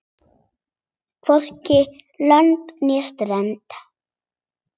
Hvorki lönd né strönd.